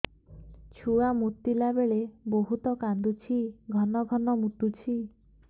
ଛୁଆ ମୁତିଲା ବେଳେ ବହୁତ କାନ୍ଦୁଛି ଘନ ଘନ ମୁତୁଛି